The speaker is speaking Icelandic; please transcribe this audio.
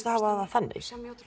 að hafa það þannig